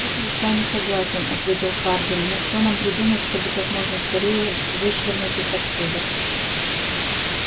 тут я с вами согласен ответил хардин но что нам придумать чтобы как можно скорее вышвырнуть их отсюда